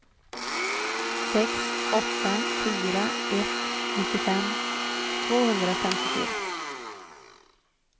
sex åtta fyra ett nittiofem tvåhundrafemtiofyra